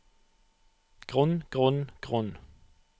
grunn grunn grunn